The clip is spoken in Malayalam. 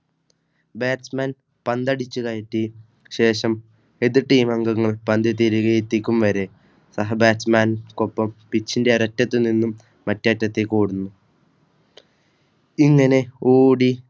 Batchman പന്ത് അടിച്ചു കയറ്റി ശേഷം എതിർ Team അംഗങ്ങൾപന്ത് തിരികെ എത്തിക്കും വരെ സഹ Batchman കൊപ്പം പിചിന്റെ ഒരറ്റത്തുനിന്നുംമറ്റേ അറ്റതേക്കോടുന്നു. ഇങ്ങനെ ഓടി